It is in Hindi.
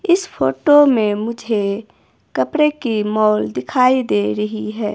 इस फोटो में मुझे कपड़े की मॉल दिखाई दे रही है।